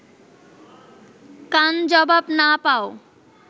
কান জবাব না পাও